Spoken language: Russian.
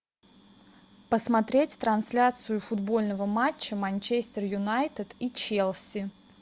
посмотреть трансляцию футбольного матча манчестер юнайтед и челси